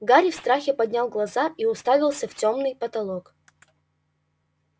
гарри в страхе поднял глаза и уставился в тёмный потолок